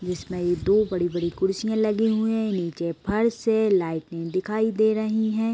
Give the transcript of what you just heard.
जिसमें ये दो बड़ी - बड़ी कुर्सियां लगी हुई हैं। नीचे फर्श है। लाइटें दिखाई दे रही हैं।